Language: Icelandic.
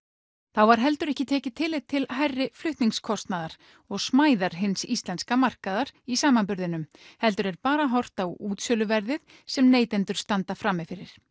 þá var heldur ekki tekið tillit til hærri flutningskostnaðar og smæðar hins íslenska markaðar í samanburðinum heldur er bara horft á útsöluverðið sem neytendur standa frammi fyrir